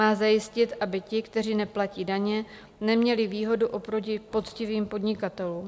Má zajistit, aby ti, kteří neplatí daně, neměli výhodu oproti poctivým podnikatelům.